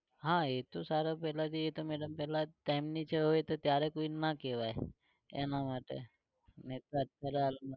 હા એતો સારા છે તો કોઈ ને ના કેવાય એના માટે